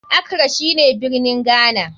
Accra shine birnin Ghana.